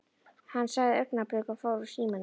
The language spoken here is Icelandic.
Hann sagði augnablik og fór úr símanum.